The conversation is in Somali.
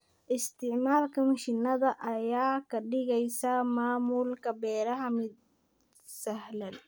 Isticmaalka mishiinada ayaa ka dhigaysa maamulka beeraha mid sahlan.